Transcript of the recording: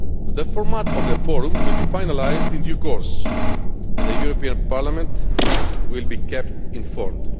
The format of the forum will be finalised in due course, and the European Parliament will be kept informed.